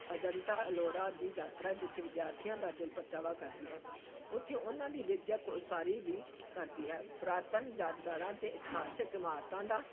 ਅਜੰਤਾ-ਅਲੋਰਾ ਦੀ ਯਾਤਰਾ ਜਿੱਥੇ ਵਿਦਿਆਰਥੀਆਂ ਦਾ ਦਿਲ ਪਰਚਾਵਾ ਕਰਦੀ ਹੈ, ਉੱਥੇ ਉਨ੍ਹਾਂ ਦੀ ਵਿੱਦਿਅਕ ਉਸਾਰੀ ਵੀ ਕਰਦੀ ਹੈ, ਪੁਰਾਤਨ ਯਾਦਗਾਰਾਂ ਤੇ ਇਤਿਹਾਸਕ ਇਮਾਰਤਾਂ ਦਾ